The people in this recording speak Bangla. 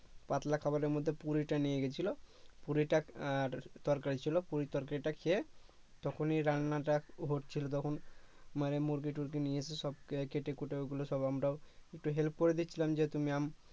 পাতলা খাবারের মধ্যে পুরিটা নিয়ে গেছিলো পুরিটা আর তরকারী ছিলো পুরি তরকারীটা খেয়ে তখনই রান্নাটা হচ্ছিলো তখন মানে মুরগি টুরগি নিয়ে এসে সব কেটে কুটে ওগুলো সব আমরাও একটু help করে দিচ্ছিলাম যেহেতু ma'am